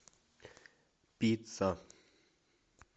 пицца